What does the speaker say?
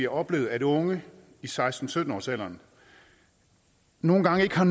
oplevet at unge i seksten til sytten årsalderen nogle gange ikke har